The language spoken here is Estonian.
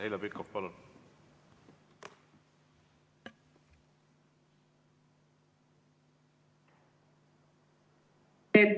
Heljo Pikhof, palun!